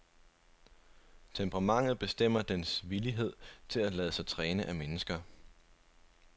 Temperamentet bestemmer dens villighed til at lade sig træne af mennesker.